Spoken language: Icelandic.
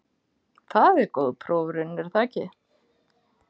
Það er góð prófraun, er það ekki?